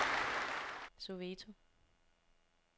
Soweto